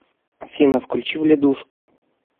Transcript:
афина включи вледушку